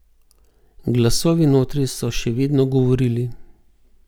Glasovi notri so še vedno govorili.